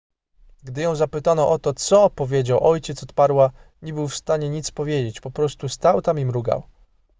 gdy ją zapytano o to co powiedział ojciec odparła nie był w stanie nic powiedzieć po prostu stał tam i mrugał